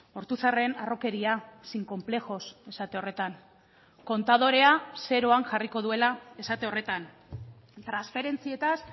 ortuzarren harrokeria sin complejos esate horretan kontadorea zeroan jarriko duela esate horretan transferentzietaz